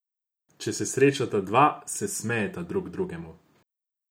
Če se srečata dva, se smejeta drug drugemu.